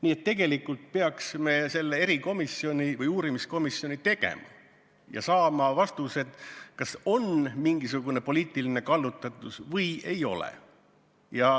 Nii et tegelikult peaks me selle erikomisjoni või uurimiskomisjoni tegema ja saama vastused, kas on mingisugune poliitiline kallutatus või ei ole.